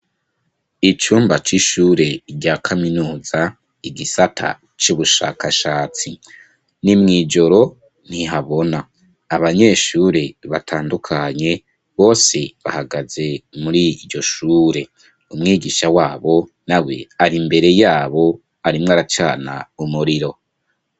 Icumba c'ishure rya kaminuza y'uburundi igisata c'ubushakashatsi ni mwijoro ntihabona abanyeshure batandukanye bose bahagaze mur'iryo shure umwigisha wabo ari imbere arimwo aracana umuriro.